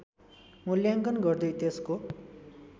मूल्याङ्कन गर्दै त्यसको